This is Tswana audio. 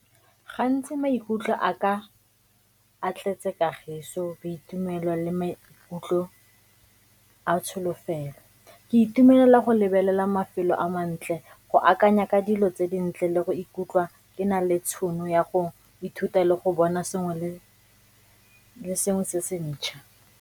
Gantsi maikutlo a ka a tletse kagiso, boitumelo le maikutlo a tsholofelo. Ke itumelela go lebelela mafelo a mantle, go akanya ka dilo tse dintle le go ikutlwa ke na le tšhono ya go ithuta le go bona sengwe le sengwe se se ntšha.